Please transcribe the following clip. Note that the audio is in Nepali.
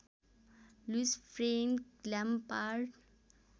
Louis Frank Lampard